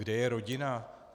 Kde je rodina?